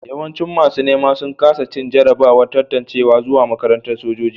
Yawancin masu nema sun kasa cin jarrabawar tantancewa zuwa makarantar sojoji